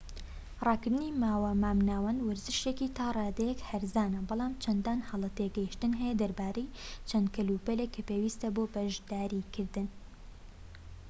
ڕاکردنی ماوە مامناوەند وەرزشێكی تا ڕادەیەك هەرزانە بەڵام چەندان هەڵە تێگەشتن هەیە دەربارەی چەند کەلوپەلێك کە پێویستە بۆ بەشداریکردن